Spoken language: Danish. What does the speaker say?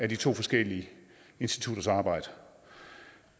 de to forskellige institutters arbejde